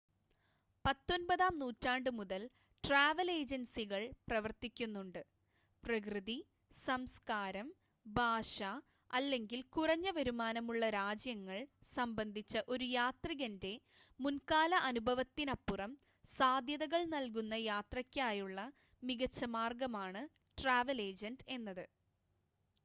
പത്തൊൻപതാം നൂറ്റാണ്ട് മുതൽ ട്രാവൽ ഏജൻസികൾ പ്രവർത്തിക്കുന്നുണ്ട് പ്രകൃതി സംസ്കാരം ഭാഷ അല്ലെങ്കിൽ കുറഞ്ഞ വരുമാനമുള്ള രാജ്യങ്ങൾ സംബന്ധിച്ച ഒരു യാത്രികൻ്റെ മുൻകാല അനുഭവത്തിനപ്പുറം സാധ്യതകൾ നൽകുന്ന യാത്രയ്ക്കായുള്ള മികച്ച മാർഗമാണ് ട്രാവൽ ഏജൻ്റ് എന്നത്